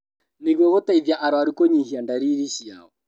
Nĩguo gũteithia arũaru kũnyihia ndariri ciao